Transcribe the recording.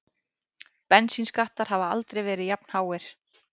Bensínskattar hafa aldrei verið jafnháir